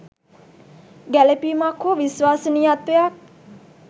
ගැලපීමක් හෝ විශ්වාසනීයත්වයක්